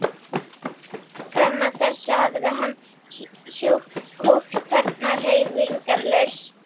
Fram að þessu hafði hann húkt þarna hreyfingarlaus.